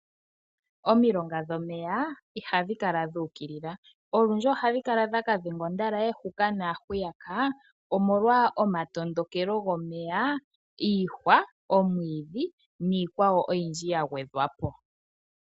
Omilonga dhomeya ihadhi kala dhuukilila, olundji ohadhi kala dha kadhenga ondalaye huka naa hwiyaka omolwa omatondokelo gwomeya ,iihwa, omwiidhi niikwawo oyindji ya gwedhwapo